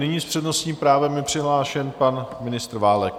Nyní s přednostním právem je přihlášen pan ministr Válek.